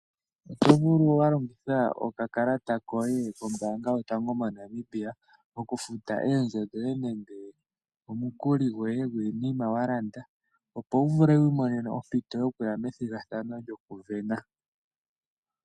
Oto vulu okulongitha okakalata koye kombaanga yotango moNamibia okufuta oondjo nenge omikuli dhiinima walanda, opo wu vule wuye methigathano lyokuvena.